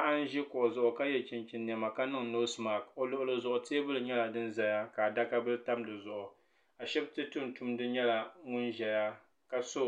Paɣa n zi kuɣu zuɣu ka ye chinchini nɛma ka niŋ nosi man o luɣili zuɣu tɛɛbuli nyɛla dini zaya ka adaka bili tam di zuɣu ashibiti tumtumdi nyɛla ŋuni ziya ka so